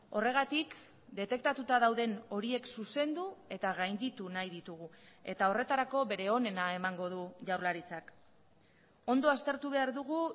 horregatik detektatuta dauden horiek zuzendu eta gainditu nahi ditugu eta horretarako bere onena emango du jaurlaritzak ondo aztertu behar dugu